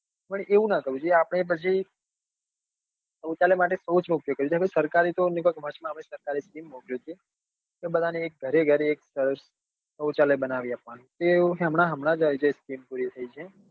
પણ એવું નાં કરવું જોઈએ આપડે પછી સૌચલા માટે સૌચ નો ઉપયોગ કરવો જોઈએ સરકારે તો કે બધા ને ઘરે ઘરે એક સૌચાલય બનાવી આપવા નું એ હમણાં પૂરી થઇ છે